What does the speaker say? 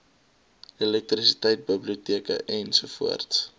elektrisiteit biblioteke ens